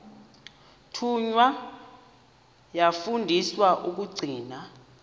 thunywa yafundiswa ukugcina